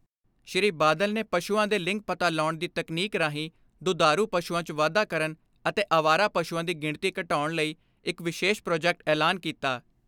ਸ੍ਰੀ ਬਾਦਲ ਨੇ ਪਸ਼ੂਆਂ ਦੇ ਲਿੰਗ ਪਤਾ ਲਾਉਣ ਦੀ ਤਕਨੀਕ ਰਾਹੀਂ ਦੁਧਾਰੂ ਪਸ਼ੂਆਂ 'ਚ ਵਾਧਾ ਕਰਨ ਅਤੇ ਅਵਾਰਾ ਪਸ਼ੂਆਂ ਦੀ ਗਿਣਤੀ ਘਟਾਉਣ ਲਈ ਇਕ ਵਿਸ਼ੇਸ਼ ਪ੍ਰਾਜੈਕਟ ਐਲਾਨ ਕੀਤਾ।